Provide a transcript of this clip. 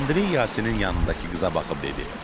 Andrey Yasinın yanındakı qıza baxıb dedi: